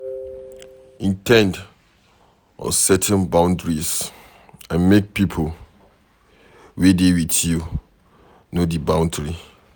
in ten d on setting boundaries and make pipo wey dey with you know di bountry